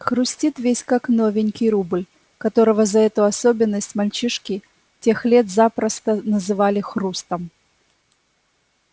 хрустит весь как новенький рубль которого за эту особенность мальчишки тех лет запросто называли хрустом